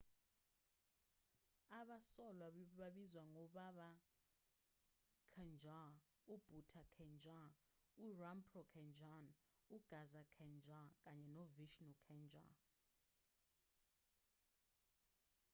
abasolwa babizwa ngobaba kanjar ubhutha kanjar urampro kanjar ugaza kanjar kanye novishnu kanjar